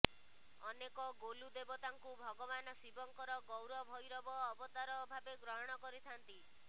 ଅନେକ ଗୋଲୁଦେବତାଙ୍କୁ ଭଗବାନ ଶିବଙ୍କର ଗୌର ଭ୘ରବ ଅବତାର ଭାବେ ଗ୍ରହଣ କରିଥାନ୍ତି